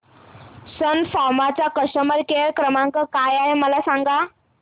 सन फार्मा चा customer care क्रमांक काय आहे मला सांगा